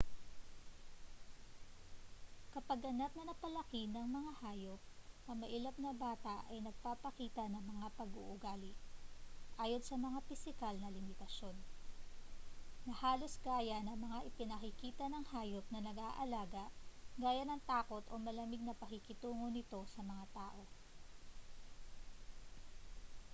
kapag ganap na napalaki ng mga hayop ang mailap na bata ay nagpapakita ng mga pag-uugali ayon sa mga pisikal na limitasyon na halos gaya ng mga ipinakikita ng hayop na nag-aalaga gaya ng takot o malamig na pakikitungo nito sa mga tao